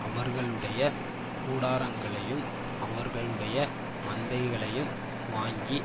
அவர்களுடைய கூடாரங்களையும் அவர்களுடைய மந்தைகளையும் வாங்கி